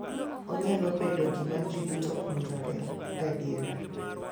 Onyalo bedo gima ji duto puonjore gadier.